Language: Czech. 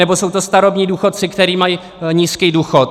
Nebo jsou to starobní důchodci, kteří mají nízký důchod.